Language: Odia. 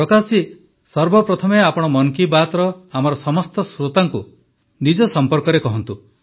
ପ୍ରକାଶ ଜୀ ସର୍ବପ୍ରଥମେ ଆପଣ ମନ୍ କୀ ବାତର ଆମର ସମସ୍ତ ଶ୍ରୋତାଙ୍କୁ ନିଜ ସମ୍ପର୍କରେ କହନ୍ତୁ